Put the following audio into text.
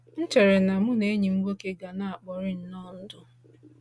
M chere na mụ na enyi m nwoke ga na-ekpori nnọọ ndụ.